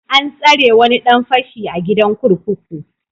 An tsare wani dan fashi a gidan kurkuku.